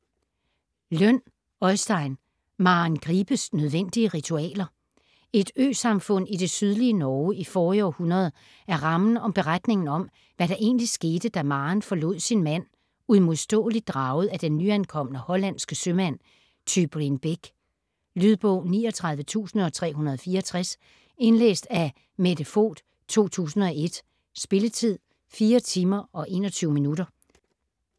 Lønn, Øystein: Maren Gripes nødvendige ritualer Et øsamfund i det sydlige Norge i forrige århundrede er rammen om beretningen om, hvad der egentlig skete da Maren forlod sin mand, uimodståeligt draget af den nyankomne hollandske sømand Tybrin Beck. Lydbog 39364 Indlæst af Mette Voight, 2001. Spilletid: 4 timer, 21 minutter.